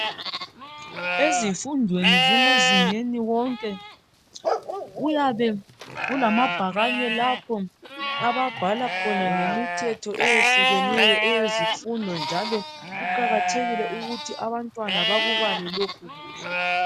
Ezifundweni zamazinga wonke kuyabe kulamabhakani lapho ababhala khona ngemithetho yezifundo njalo kuqakathekile ukuthi abantwana bakubale lokhu kuhle.